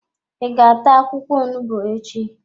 I ga-ata akwụkwọ onugbu echi?